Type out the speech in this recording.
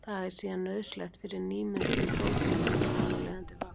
Það er síðan nauðsynlegt fyrir nýmyndun prótína og þar af leiðandi vöxt.